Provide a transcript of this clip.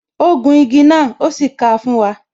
Ó gun igi náà, o sì ka fún wa